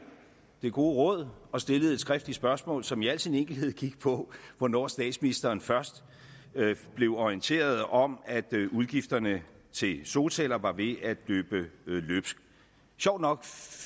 det gode råd og stillede et skriftligt spørgsmål som i al sin enkelhed gik på hvornår statsministeren først blev orienteret om at udgifterne til solceller var ved at løbe løbsk sjovt nok